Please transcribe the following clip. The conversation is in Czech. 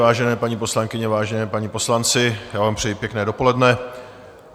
Vážené paní poslankyně, vážení páni poslanci, já vám přeji pěkné dopoledne.